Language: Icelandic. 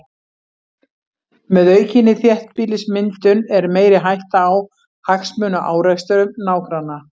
Með aukinni þéttbýlismyndun er meiri hætta á hagsmunaárekstrum nágranna.